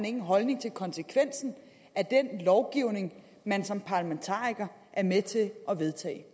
en holdning til konsekvensen af den lovgivning man som parlamentariker er med til at vedtage